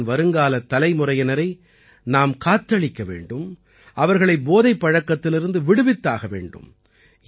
தேசத்தின் வருங்காலத் தலைமுறையினரை நாம் காத்தளிக்க வேண்டும் அவர்களை போதைப் பழக்கத்திலிருந்து விடுவித்தாக வேண்டும்